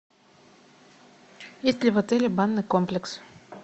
есть ли в отеле банный комплекс